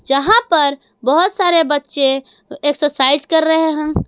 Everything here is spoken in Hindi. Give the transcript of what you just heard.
यहां पर बहुत सारे बच्चे एक्सरसाइज कर रहे हैं।